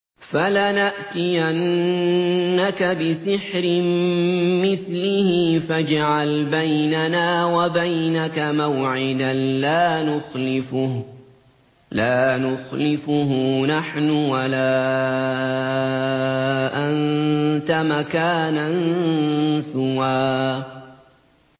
فَلَنَأْتِيَنَّكَ بِسِحْرٍ مِّثْلِهِ فَاجْعَلْ بَيْنَنَا وَبَيْنَكَ مَوْعِدًا لَّا نُخْلِفُهُ نَحْنُ وَلَا أَنتَ مَكَانًا سُوًى